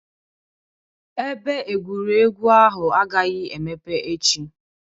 Ebe egwuregwu ahụ agaghị emepe echi